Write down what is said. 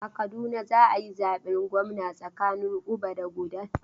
A Kaduna za a yi zaben gwamna tsakanin Uba da Kudan.